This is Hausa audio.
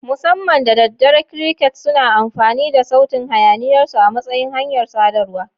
Musamman da daddare, crickets suna amfani da sautin hayaniyarsu a matsayin hanyar sadarwa.